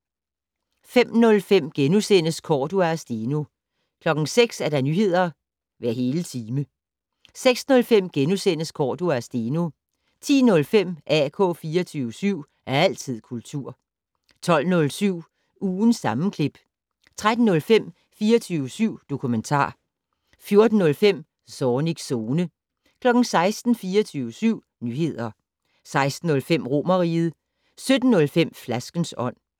05:05: Cordua og Steno * 06:00: Nyheder hver hele time 06:05: Cordua og Steno * 10:05: AK 24syv. Altid kultur 12:07: Ugens sammenklip 13:05: 24syv dokumentar 14:05: Zornigs Zone 16:00: 24syv Nyheder 16:05: Romerriget 17:05: Flaskens Ånd